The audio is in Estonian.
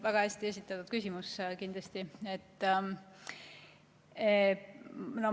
Väga hästi esitatud küsimus!